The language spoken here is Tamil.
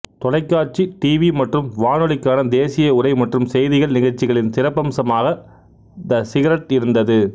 தொலைக்காட்சி டிவி மற்றும் வானொலிக்கான தேசிய உரை மற்றும் செய்திகள் நிகழ்ச்சிகளின் சிறப்பம்சமாக த சீக்ரெட் இருந்தது